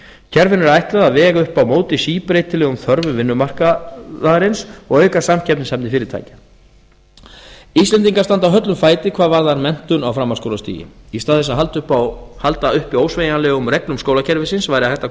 kerfinu er ætlað að vega upp á móti síbreytilegum þörfum vinnumarkaðarins og auka samkeppnishæfni fyrirtækja íslendingar standa höllum fæti hvað varðar menntun á framhaldsskólastigi í stað þess að halda uppi ósveigjanlegum reglum skólakerfisins væri hægt að